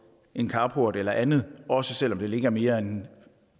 en carport eller andet også selv om det ligger mere end